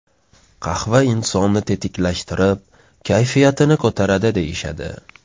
Qahva insonni tetiklashtirib, kayfiyatini ko‘taradi deyishadi.